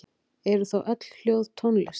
Eru þá öll hljóð tónlist?